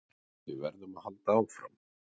Við verðum að halda áfram